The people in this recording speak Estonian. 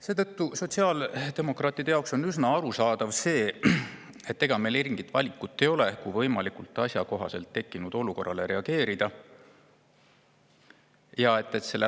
Seetõttu on sotsiaaldemokraatide jaoks üsna arusaadav, et ega muud valikut ei ole kui tekkinud olukorrale võimalikult asjakohaselt reageerida.